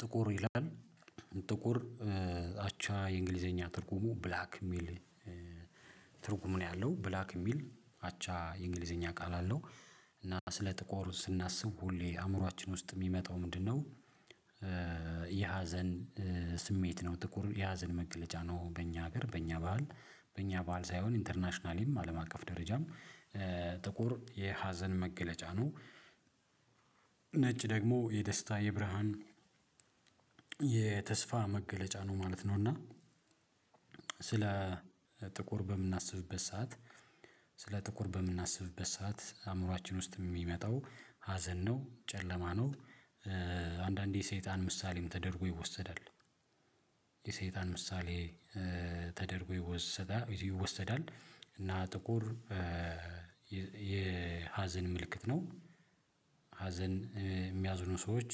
ጥቁር ይላል ጥቁር አቻ የእንግሊዘኛ ትርጉሙ ብላክ ሚል ትርጉም ነው ያለው ብላክ የሚል አቻ የእንግሊዘኛ ቃል አለው እና ስለ ጥቁር ስናስብ ሁሌ አእምሮአችን ውስጥ ሚመጣው ምንድን ነው? የሀዘን ስሜት ነው ጥቁር የሀዘን መግለጫ ነው በእኛ ሀገር በእኛ በዓል በእኛ በዓል ሳይሆን ኢንተርናሽናሊም አለም አቀፍ ደረጃም ጥቁር የሀዘን መገለጫ ነው። ነጭ ደግሞ የደስታ የብርሃን የተስፋ መገለጫ ነው ማለት ነው። እና ስለ ጥቁር በምናስብበት ሰዓት ስለ ጥቁር በምናስብበት ሰዓት አእምሮአችን ውስጥ የሚመጣው ሀዘን ነው ጨለማ ነው። አንዳንዴ የሰይጣን ምሳሌም ተደርጎ ይወሰዳል ምሳሌ ተደርጎ ይወሰዳል እና ጥቁር የሀዘን ምልክት ነው። ሀዘን የሚያዝኑ ሰዎች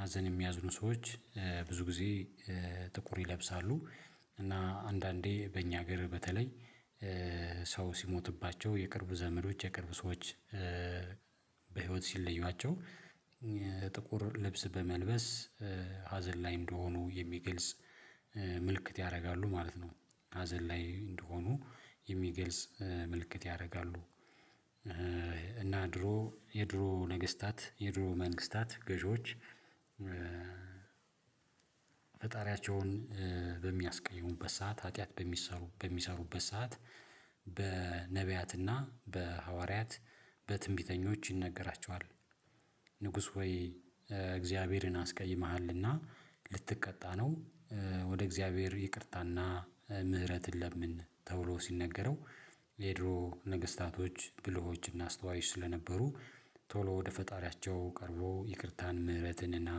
ሀዘን የሚያዝኑ ሰዎች ብዙ ጊዜ ጥቁር ይለብሳሉ። እና አንዳንዴ በእኛ ሀገር በተለይ ሰው ሲሞትባቸው የቅርብ ዘመዶች የቅርብ ሰዎች በህይወት ሲለዩዋቸው ጥቁር ልብስ በመልበስ ሀዘን ላይ እንደሆኑ የሚገልጽ ምልክት ያረጋሉ ማለት ነው። ሀዘን ላይ እንደሆኑ የሚገልጽ ምልክት ያረጋሉ። እና ድሮ የድሮ ነገስታት የድሮ መንግስታት ገዢዎች ፈጣሪያቸውን በሚያስቀይሙበት ሰዓት ሀጥያት በሚሰሩ በሚሰሩበት ሰዓት በነብያትና በሐዋርያት በትንቢተኞች ይነገራቸዋል ንጉስ ሆይ እግዚአብሔርን አስቀይመሃልና ልተቀጣ ነው። ወደ እግዚአብሔር ይቅርታና ምህረትን ለምን ተብሎ ሲነገረው የድሮ ነገስታቶች ብልሆችና አስተዋይ ስለነበሩ ቶሎ ወደ ፈጣሪያቸው ቀርቦ ይቅርታን ምህረትንና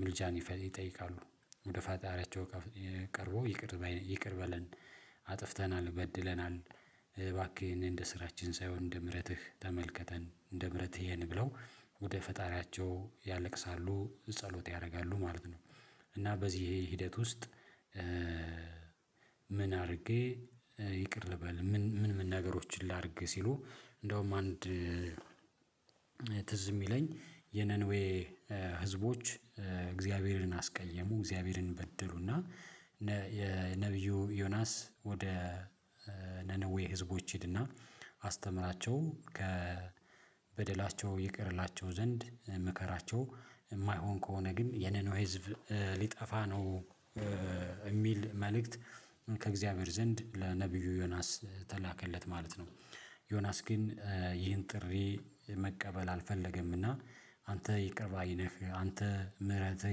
ምልጃን ይጠይቃሉ ወደ ፋጣሪያቸው ቀርቦ ይቅር ይቅር በለን አጥፍተናል በድለናል እባክህ እኔ እንደ ስራችን ሳይሆን እንደ ምህረትህ ተመልከተን እንደ ምህረትህ እየን ብለው ወደ ፈጣሪያቸው ያለቅሳሉ ጸሎት ያደርጋሉ ማለት ነው። እና በዚህ ሂደት ውስጥ ምን አድርጌ ይቅር በል ምን ምን ነገሮችን ላድርግ ሲሉ እንደውም አንድ ትዝ ሚለኝ የነንዌ ህዝቦች እግዚአብሔርን አስቀየሙ እግዚአብሔርን በደሉና የነቢዩ ዮናስ ወደ ነነዌ ህዝቦች ሂድና አስተምራቸው ከበደላቸው ይቅር እላቸው ዘንድ ምከራቸው የማይሆን ከሆነ ግን የነነዌ ህዝብ ሊጠፋ ነው። ሚል መልእክት ከእግዚአብሔር ዘንድ ለነብዩ ዮናስ ተላከለት ማለት ነው። ዮናስ ግን ይህን ጥሪ መቀበል አልፈለገምና አንተ ይቅር ባይ ነህ አንተ ምህረትህ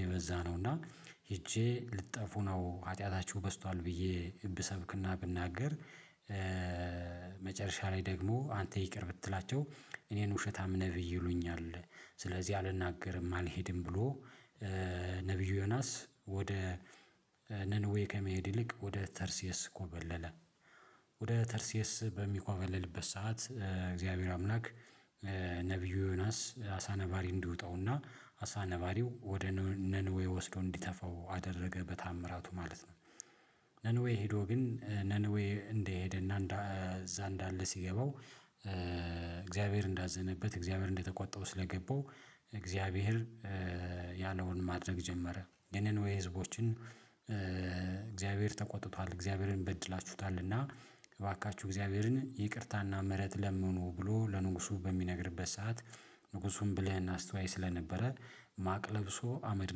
የበዛ ነው እና ሄጄ ልትጠፉ ነው ሀጢያታቹህ በዝቷል ብዬ ብሰብክና ብናገር። መጨረሻ ላይ ደግሞ አንተ ይቅር ብትላቸው እኔን ውሸታም ነብይ ይሉኛል ስለዚህ አልናገርም አልሄድም ብሎ ነብዩ ዮናስ ወደ ነንዌ ከመሄድ ይልቅ ወደ ተርሲየስ ኮበለለ። ወደ ተርሴስ በሚኮበልልበት ሰዓት እግዚአብሔር አምላክ ነብዩ ዮናስ አሳ ነባሪ እንዲውጠውና አሳ ነባሪው ወደ ነንዌ ወስዶ እንዲተፋው አደረገ በተአምራቱ ማለት ነው። ሄዶ ግን ነንዌ እንደሄደ እና እዛ እንዳለ ሲገባው እግዚአብሔር እንዳዘነበት እግዚአብሔር እንደተቆጣው ስለገባው እግዚአብሔር ያለውን ማድረግ ጀመረ የነነዌይ ህዝቦችን እግዚአብሔር ተቆጥቷል እግዚአብሔርን በድላችሁታልና እባካችሁ እግዚአብሔርን ይቅርታና ምህረት ለምኑ ብሎ ለንጉሱ በሚነግርበት ሰዓት ንጉሱን ብለህ እናስተዋይ ስለነበረ ማቅ ለብሶ አመድ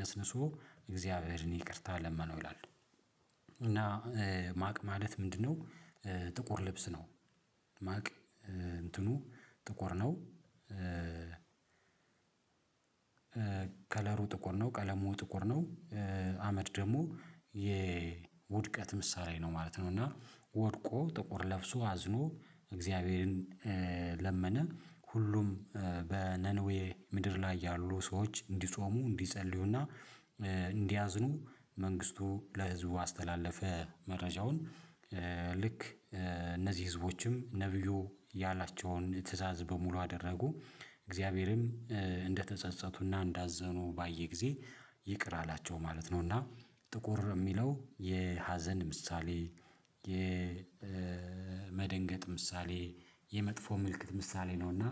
ነስንሶ እግዚአብሔርን ይቅርታ ለመነው ይላል። እና ማቅ ማለት ምንድን ነው? ጥቁር ልብስ ነው። ማቅ እንትኑ ጥቁር ነው። ከለሩ ጥቁር ነው ቀለሙ ጥቁር ነው አመድ ደግሞ የውድቀት ምሳሌ ነው ማለት ነው። እና ወድቆ ጥቁር ለብሶ አዝኖ እግዚአብሔርን ለመነ ሁሉም በነንዌ ምድር ላይ ያሉ ሰዎች እንዲጾሙ እንዲጸልዩና እንዲያዝኑ መንግስቱ ለህዝቡ አስተላለፈ መረጃውን ልክ እነዚህ ህዝቦችም ነብዩ ያላቸውን ትእዛዝ በሙሉ አደረጉ እግዚአብሔርም እንደተጸጸቱና እንዳዘኑ ባየ ጊዜ ይቅር አላቸው ማለት ነው። እና ጥቁር እሚለው የሀዘን ምሳሌ የመደንገጥ ምሳሌ የመጥፎ ምልክት ምሳሌ ነውና።